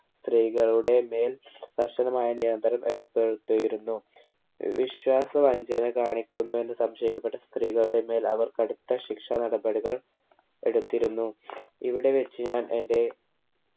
സ്ത്രീകളുടെ മേൽ കർശനമായ നിയന്ത്രണം ഏർപ്പെടുത്തിയിരുന്നു ഏർ വിശ്വാസ വഞ്ചന കാണിക്കുന്നുവെന്ന് സംശയിക്കപ്പെട്ട സ്ത്രീകളുടെ മേൽ അവർ കടുത്ത ശിക്ഷാനടപടികൾ എടുത്തിരുന്നു ഇവിടെ വെച്ച് ഞാൻ എന്റെ